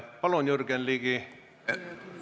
Palun, Jürgen Ligi!